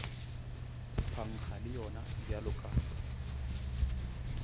phankga le yona bjalo ka